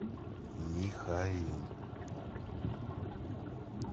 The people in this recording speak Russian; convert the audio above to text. михаил